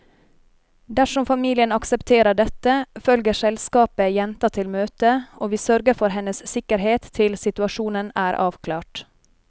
Dersom familien aksepterer dette, følger selskapet jenta til møtet, og vi sørger for hennes sikkerhet til situasjonen er avklart.